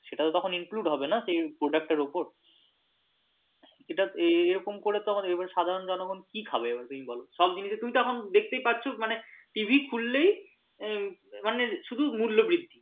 সেটা তো তখন include হবে না সেই product তার উপর এটা এই রকম করে তো সাধারণ জনগন কি খাবে তুমি বল সব জিনিস থেকে তুমি তো এখন দেখতেই পাচ্ছ মানে TV খুললেই মানে শুধু মূল্য বৃদ্ধি।